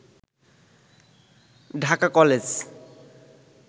Dhaka college